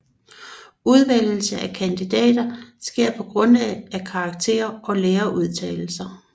Udvælgelse af studerende sker på grundlag af karakterer og lærerudtalelser